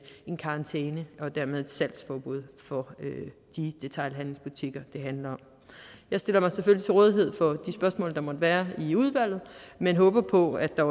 en karantæne og dermed et salgsforbud for de detailhandelsbutikker det handler om jeg stiller mig selvfølgelig til rådighed for de spørgsmål der måtte være i udvalget men håber på at der